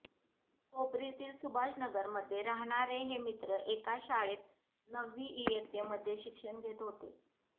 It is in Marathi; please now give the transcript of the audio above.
कोपरीतील सुभाषनगरमध्ये राहणारे हे मित्र एकाच शाळेत नववी इयत्तेमध्ये शिक्षण घेत होते